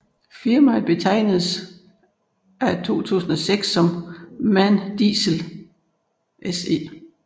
Firmaet betegnedes fra 2006 som MAN Diesel SE